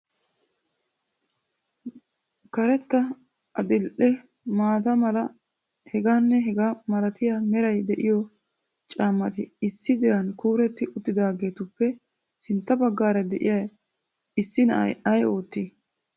karetta, adil''e, maata mala heganne hegaa malatiya meray de'iyo caammati issi diran kuureti uttidaagetuppe sintta baggara de'iyaa issi na'ay ay oottii?